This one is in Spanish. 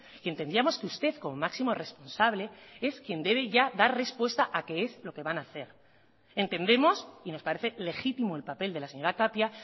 y entendíamos que usted como máximo responsable es quien debe ya dar respuesta a qué es lo que van a hacer entendemos y nos parece legítimo el papel de la señora tapia